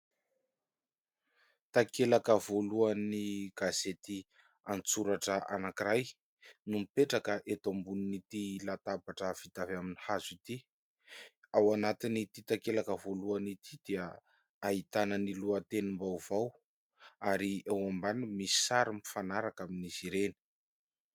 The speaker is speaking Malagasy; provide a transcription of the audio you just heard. Takelaka voalohan'ny gazety an-tsoratra anankiray, no mipetraka eto ambonin'ity latabatra vita avy amin'ny hazo ity, ao anatin'ity takelaka voalohany ity dia ahitana ny lohatenim-baovao ary eo ambaniny misy sary mifanaraka amin'izy ireny.